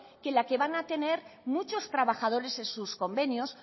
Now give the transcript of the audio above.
que la que van a tener muchos trabajadores en sus convenios